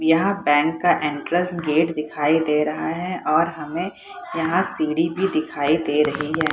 यहाँ बैंक का entrance gate दिखाई दे रहा है और हमें यहाँ सीढ़ी भी दिखाई दे रही है।